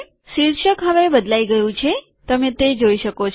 શીર્ષક હવે બદલાઈ ગયું છે તમે તે જોઈ શકો છો